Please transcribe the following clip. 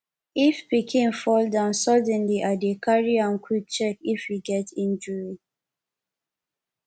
if pikin fall down suddenly i dey carry am quick check if e get injury